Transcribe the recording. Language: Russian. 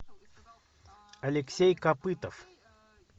алексей копытов